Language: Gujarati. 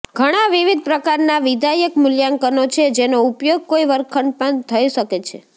ઘણાં વિવિધ પ્રકારના વિધાયક મૂલ્યાંકનો છે જેનો ઉપયોગ કોઈ વર્ગખંડમાં થઈ શકે છે